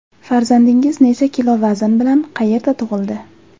Farzandingiz necha kilo vazn bilan, qayerda tug‘ildi?